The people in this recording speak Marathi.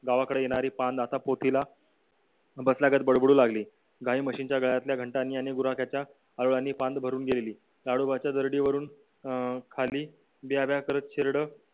गावाकडून येणारी पांद आता पोतीला बसल्यागत बडबडू लागली गाई म्हशींच्या गळ्यातल्या घंटांनी आणि बांध भरून गेली ताडोबाच्या जरडीवरून अं खाली भ्याभ्या करत शेरड